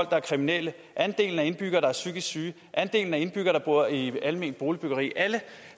der er kriminelle andelen af indbyggere der er psykisk syge andelen af indbyggere der bor i alment boligbyggeri alle